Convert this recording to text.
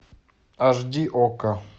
аш ди окко